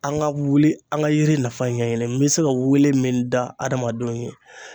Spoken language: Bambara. An ka wuli, an ka yiri nafa ɲɛɲini n be se ka wele min da hadamadenw ye